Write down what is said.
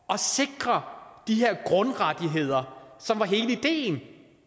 at sikre de her grundrettigheder som var hele ideen